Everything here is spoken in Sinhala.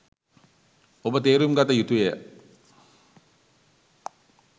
ඔබ තේරුම් ගත යුතු ය.